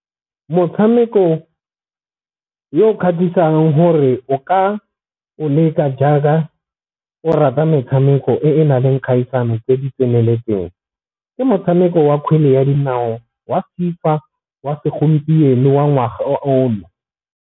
Motshameko yo o kgatlhisang gore o ka o letsa jaaka o rata metshameko e na leng kgaisano tse di tseneletseng, ke motshameko wa kgwele ya dinao wa FIFA wa segompieno wa ngwaga ono.